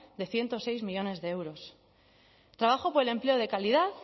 de ciento seis millónes de euros trabajo por el empleo de calidad